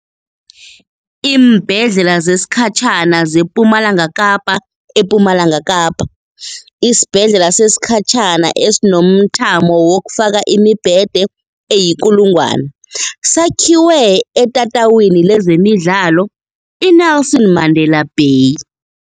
Iimbhedlela Zesikhatjhana zePumalanga KapaEPumalanga Kapa, isibhedlela sesikhatjhana esinomthamo wokufaka imibhede eyi-1 000 sakhiwe etatawini lezemidlalo i-Nelson Mandela Bay.